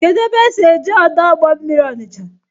Kedụ ebe esi eje ọdọ ụgbọ mmiri Ọnicha?